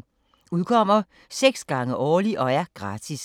Udkommer 6 gange årligt og er gratis.